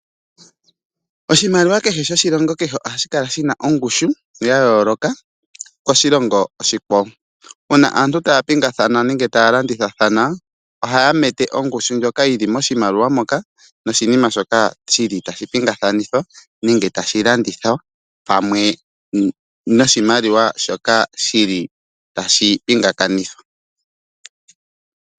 Oshimaliwa kehe shoshilongo kehe ohashi kala shina yayooloka koshilongo oshikwawo. Uuna aantu taya pingathana nenge tayi landithathana ohaya mete ongushu ndjoka yili moshimaliwa moka noshinima shoka tashi pingakanitha nenge tashi landithwa noshimaliwa shoka shili tashi pingakanithwa.